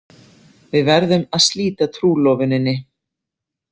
Við verðum að slíta trúlofuninni.